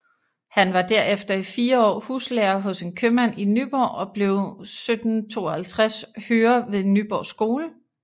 Han var derefter i 4 år huslærer hos en købmand i Nyborg og blev 1752 hører ved Nyborg Skole